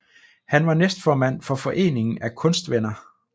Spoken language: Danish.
Han var næstformand for Foreningen af Kunstvenner